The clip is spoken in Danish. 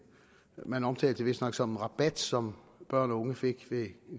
man omtalte det vistnok som en rabat som børn og unge fik ved